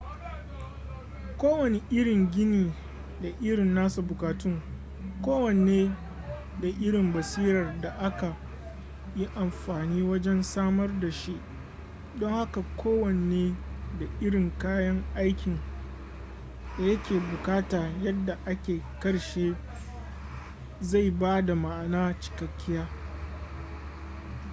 kowane irin gini da irin nasa bukatun kowanne da irin basirar da aka yi amfani wajen samar da shi don haka kowanne da irin kayan aikin da ya ke bukata yadda a karshe zai bada ma'ana cikakkiya